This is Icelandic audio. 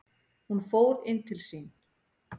Hún fór inn til sín.